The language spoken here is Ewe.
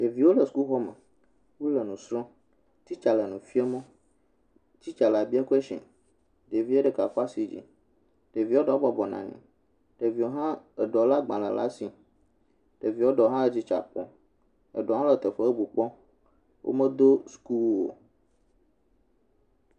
Ɖeviwo le sukuxɔme, wole nu srɔ̃, titsa le nu fiam wo, titsa la bia question ɖevie ɖeka kɔ asi yi dzi ɖevia ɖewo bɔbɔ nɔ anyi, ɖevia ɖewo le agbalẽ ɖe asi, ɖevi ɖewo hã titsa kpɔm, ɖevia ɖewo medo sukuwu o.